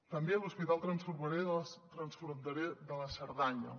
també l’hospital transfronterer de la cerdanya